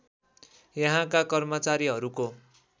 यहाँका कर्मचारीहरूको